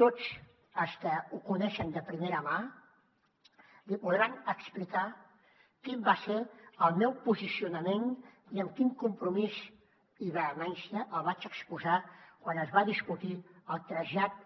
tots els que ho coneixen de primera mà li podran explicar quin va ser el meu posicionament i amb quin compromís i vehemència el vaig exposar quan es va discutir el trasllat